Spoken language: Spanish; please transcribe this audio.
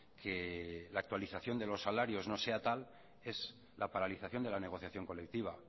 que la actualización de los salarios no sea tal es la paralización de la negociación colectiva